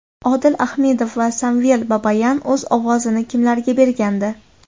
Odil Ahmedov va Samvel Babayan o‘z ovozini kimlarga bergandi?.